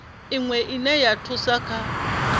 iwe ine ya thusa kha